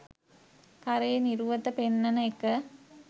කරේ නිරුවත පෙන්නන එක.